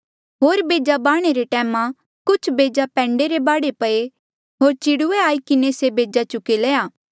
होर बेजा बाह्णे रे टैमा कुछ बेजा पैंडे रे बाढे पये होर चिड़ुऐ आई किन्हें से बेजा चुगी लया